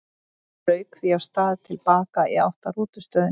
Hann rauk því af stað til baka í átt að rútustöðinni.